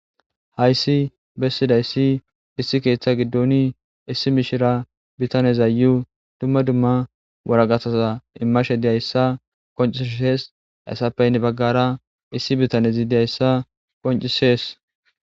Hayssi bessidayssi issi keeththa giddoni issi mishira bitanezaayu dumma dumma waragasaza immashe diyayssa qoncisees hasappeynne baggara issi bitanezi diyayssa qoncisees